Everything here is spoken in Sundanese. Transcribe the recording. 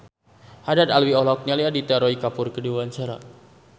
Haddad Alwi olohok ningali Aditya Roy Kapoor keur diwawancara